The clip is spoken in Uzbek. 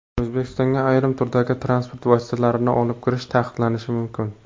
O‘zbekistonga ayrim turdagi transport vositalarini olib kirish taqiqlanishi mumkin.